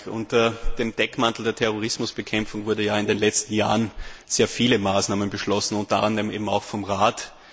Unter dem Deckmantel der Terrorismusbekämpfung wurden ja in den letzten Jahren sehr viele Maßnahmen beschlossen, unter anderem auch vom Rat.